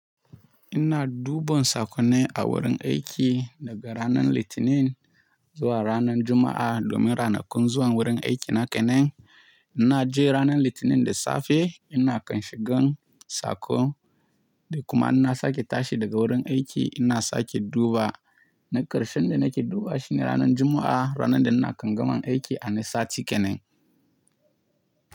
Ina duban sakonai a wurin aiki daga ranar Litinin zuwa ranar Juma'a domin ranakun zuwan wurin aiki na kenan. Ina je ranar Litinin da safe, ina kan shigan sako da kuma inna sake tashi daga wurin aiki. Inna sake duba na karshe inda nake dubawa shine ranar Juma'a, ranar da ina kan gama aiki a ni sati kenan.